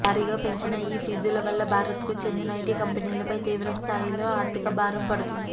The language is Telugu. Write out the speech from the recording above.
భారీగా పెంచిన ఈ ఫీజుల వల్ల భారత్కు చెందిన ఐటి కంపెనీలపై తీవ్రస్థాయిలో ఆర్థిక భారం పడుతుంది